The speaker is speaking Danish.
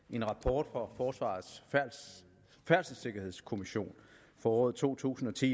en rapport fra forsvarets færdselssikkerhedskommission for året to tusind og ti